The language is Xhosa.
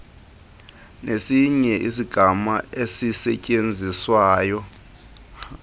nesinye isigama esisetyenziswayo